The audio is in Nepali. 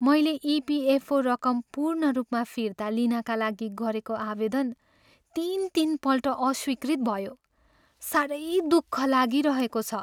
मैले इपिएफओ रकम पूर्ण रूपमा फिर्ता लिनाका लागि गरेको आवेदन तिन तिनपल्ट अस्वीकृत भयो। साह्रै दुःख लागिरहेको छ।